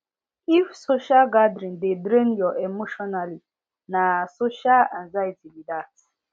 if social gathering dey drain your emotionally na social anxiety be that